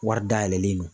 Wari dayɛlɛlen don